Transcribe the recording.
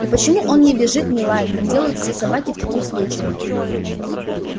и почему он не визжит не лает как делают все собаки в таких случаях